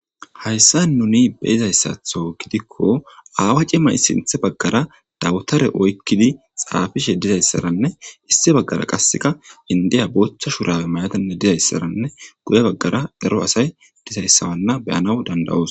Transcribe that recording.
Hayssa nuni beizayssatho gidikko aawa cimay sinthe baggara dawutare oykkidi xaafishe dizayssaranne hissi baggara qasseka indiya booththa shurabe mayatanne dizayssaranne guye baggara ero asay dizayssawanna beyanaw dandawoos.